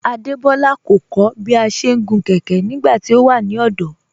Adebọla kọ̀ kọ̀ bí à ṣé ń gun kẹkẹ̀ nígbàtí ọ wà ní ọdọ́